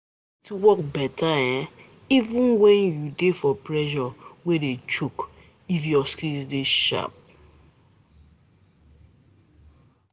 You go fit work beta even when u dey for pressure wey dey choke, if ur skills dey sharp